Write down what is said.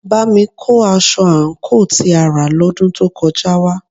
Bámi kó aṣọ àǹkóò tí a rà lọ́dún tó kọjá wá